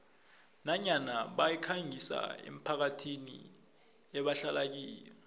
nanyana bayikhangisa emphakathini ebahlala kiyo